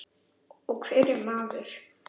Og hver er maður?